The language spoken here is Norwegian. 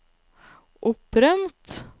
opprømt